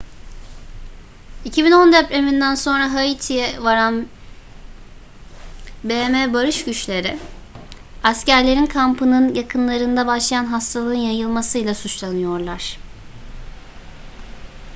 2010 depreminden sonra haiti'ye varan bm barış güçleri askerlerin kampının yakınlarında başlayan hastalığın yayılmasıyla suçlanıyorlar